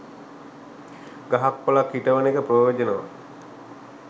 ගහක් කොලක් හිටවන එක ප්‍රයෝජනවත්.